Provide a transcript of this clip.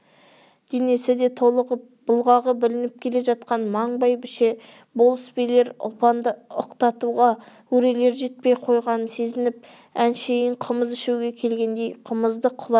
денесі де толығып бұғағы білініп келе жатқан маң бәйбіше болыс билер ұлпанды ықтатуға өрелері жетпей қойғанын сезініп әшейін қымыз ішуге келгендей қымызды құлата